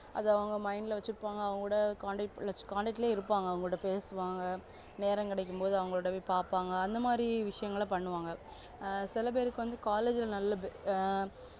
அத அவங்க mind ல வச்சிருப்பாங்க அவங்களோட contact லே இருப்பாங்க அவங்களோட பேசுவாங்க நேரம் கிடைக்கும் போது அவங்கள போய் பாப்பாங்க அந்த மாதிரி விஷயம்லா பண்ணுவாங்க அ சில பேருக்கு வந்து college ல நல்ல ஆஹ்